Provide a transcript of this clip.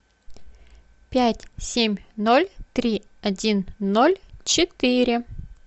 пять семь ноль три один ноль четыре